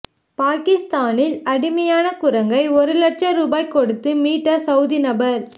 பாகிஸ்தானில் அடிமையான குரங்கை ஒரு இலட்சம் ரூபா கொடுத்து மீட்ட சவூதி நபர்